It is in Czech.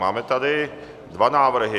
Máme tady dva návrhy.